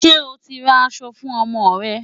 Ṣé o ti ra aṣọ fún ọmọ rẹ?